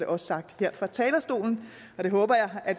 også sagt her fra talerstolen og det håber jeg at